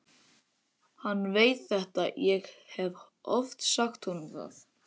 Hann veit þetta, ég hef oft sagt honum það.